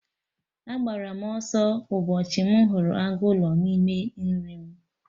Agbara m ọsọ ụbọchị m hụrụ agụ ụlọ n'ime nri m